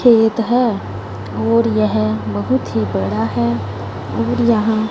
खेत है और यह बहोत ही बड़ा है और यहां--